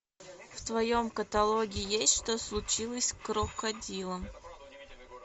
в твоем каталоге есть что случилось с крокодилом